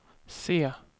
se